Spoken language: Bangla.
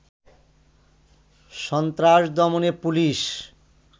সন্ত্রাস দমনে পুলিশ